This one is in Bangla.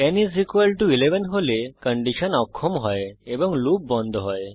n 11 হলে কন্ডিশন অক্ষম হয় এবং লুপ বন্ধ হয়